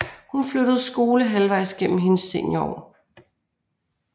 Hun flyttede skole halvvejs gennem hendes seniorår